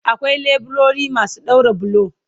Akwai leburori masu daura bulo